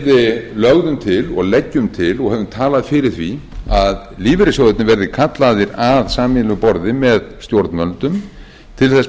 við lögðum til og leggjum til og höfum talað fyrir því að lífeyrissjóðirnir verði kallaðir að sameiginlegu borði með stjórnvöldum til þess